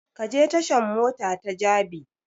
Ka je tashan mota ta jabi!